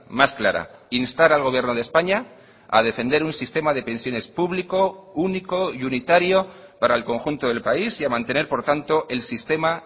más clara instar al gobierno de españa a defender un sistema de pensiones público único y unitario para el conjunto del país y a mantener por tanto el sistema